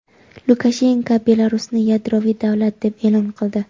Lukashenko Belarusni yadroviy davlat deb e’lon qildi.